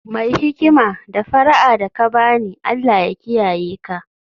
Mai hikima, d fara'a da ka ba ni, Allah ya kiyaye ka